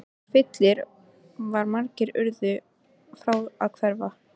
Húsfyllir var og margir urðu frá að hverfa.